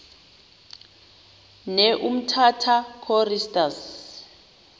ne umtata choristers